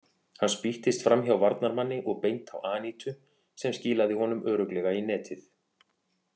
Hann spýttist framhjá varnarmanni og beint á Anítu sem skilaði honum örugglega í netið.